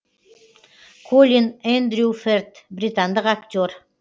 колин эндрю ферт британдық актер